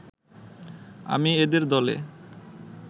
আমি এদের দলে